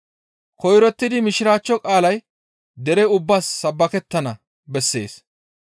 Koyrottidi Mishiraachcho qaalay dere ubbaas sabbakettana bessees.